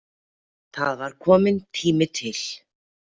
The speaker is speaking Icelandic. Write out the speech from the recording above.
Það var kominn tími til.